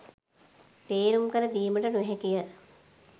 තේරුම් කර දීමට නොහැකි ය